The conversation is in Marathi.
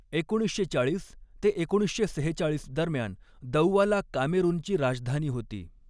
एकोणीसशे चाळीस ते एकोणीसशे सेहेचाळीस दरम्यान दौआला कामेरूनची राजधानी होती.